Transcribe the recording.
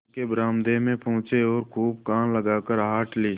दफ्तर के बरामदे में पहुँचे और खूब कान लगाकर आहट ली